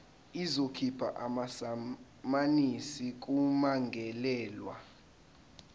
izokhipha amasamanisi kummangalelwa